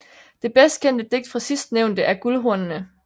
Det bedst kendte digt fra sidstnævnte er Guldhornene